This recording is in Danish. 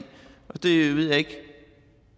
og